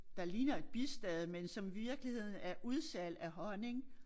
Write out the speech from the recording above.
Der ligner et bistade men som i virkeligheden er udsalg af honning